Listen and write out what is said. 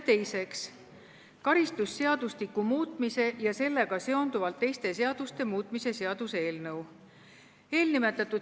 Teiseks, karistusseadustiku muutmise ja sellega seonduvalt teiste seaduste muutmise seaduse eelnõu.